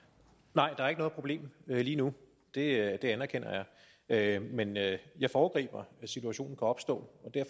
nej der er ikke noget problem lige nu det anerkender jeg men jeg foregriber at situationen opstå